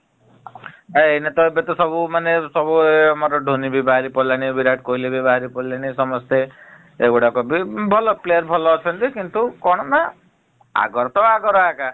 ଅ ଏଇନା ତ ଏବେ ତ ସବୁ ମାନେ ସବୁ ଆମର ଢୋନି ବି ବାହାରି ପଡିଲାଣି ବିରାଟ୍ କୋହଲି ବି ବାହାରି ପଡିଲେଣି ସମସ୍ତେ ଏ ଗୋଡାକ ଭଲ player ଭଲ ଅଛନ୍ତି କିନ୍ତୁ କଣ ନା ଆଗର ତ ଆଗର ଆଗା ।